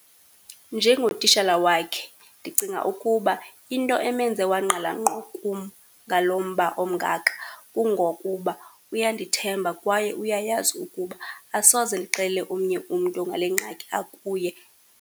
Njengotishala wakhe ndicinga ukuba into emenze wangqala ngqo kum ngalo mba omngaka kungokuba uyandithemba kwaye uyayazi ukuba asoze ndixelele omnye umntu ngale ngxaki akuye.